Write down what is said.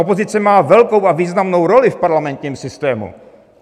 Opozice má velkou a významnou roli v parlamentním systému.